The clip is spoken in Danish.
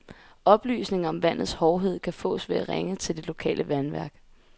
Oplysninger om vandets hårdhed kan fås ved at ringe til det lokale vandværk.